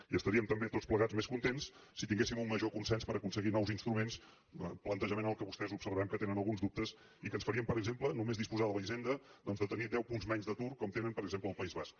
i estaríem també tots plegats més contents si tinguéssim un major consens per aconseguir nous instruments plantejament en què vostès observem que tenen alguns dubtes i que ens faria per exemple només disposar de la hisenda tenir deu punts menys d’atur com tenen per exemple al país basc